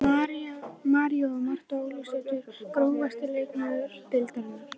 María og Marta Ólafsdætur Grófasti leikmaður deildarinnar?